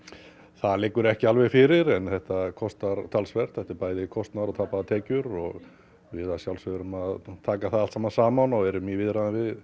það liggur ekki alveg fyrir þetta kostar talsvert þetta er bæði kostnaður og tapaðar tekjur og við að sjálfsögðu erum að taka það saman og erum í viðræðum við